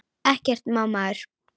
Ekkert má maður!